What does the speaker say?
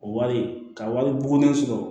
O wari ka wari boen sɔrɔ